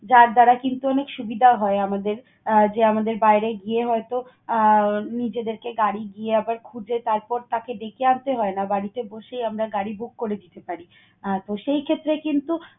যার দ্বারা কিন্তু অনেক সুবিধা হয় আমাদের আহ যে, আমাদের বাইরে গিয়ে হয়তো আহ নিজেদেরকে গাড়ি গিয়ে আবার খুঁজে তারপর তাকে ডেকে আনতে হয় না। বাড়িতে বসেই আমরা গাড়ি book করে দিতে পারি আহ তো, সেই ক্ষেত্রে কিন্তু